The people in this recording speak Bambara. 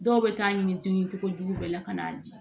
Dɔw bɛ taa ɲini tuguni cogojugu bɛɛ la ka n'a di